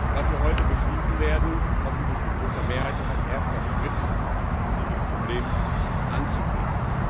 Was wir heute beschließen werden hoffentlich mit großer Mehrheit ist ein erster Schritt, um dieses Problem anzugehen.